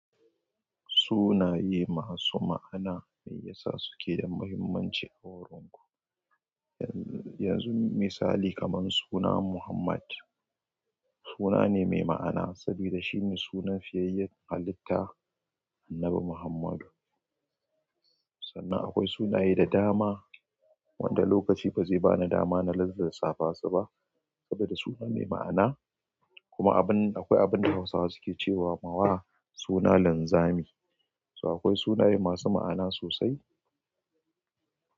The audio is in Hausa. Sunaye masu ma'ana mai yasa suke da muhimmanci a horon ku. Yanzu misali kaman suna Muhammad suna ne mai ma'ana saboda shine sunan fiyayyen halitta Annabi Muhammadu. Sannan akwai sunaye da dama wanda lokaci ba zai bani dama na lissaffa su ba saboda suna mai ma'ana. Kuma abin akwai abin da Hausawa su ke cewa suna linzami. So akwai sunaye masu ma'ana sosai.